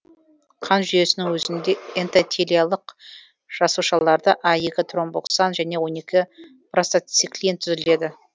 қан жүйесінің өзінде эндотелиялық жасушаларда а екі тромбоксан және он екі простациклин түзіледі